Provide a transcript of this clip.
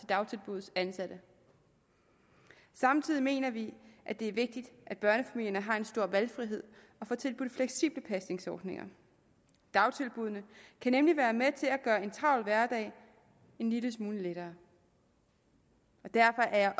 dagtilbuddets ansatte samtidig mener vi at det er vigtigt at børnefamilierne har en stor valgfrihed og får tilbudt fleksible pasningsordninger dagtilbuddene kan nemlig være med til at gøre en travl hverdag en lille smule lettere derfor er